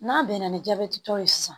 N'a bɛnna ni jabɛtitɔ ye sisan